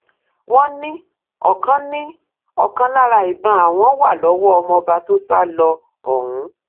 wọn ní ọkan ní ọkan lára ìbọn àwọn wà lọwọ ọmọọba tó sá lọ ọhún